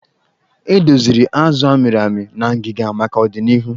E doziri azụ a mịrị amị na ngịga maka odịnihu.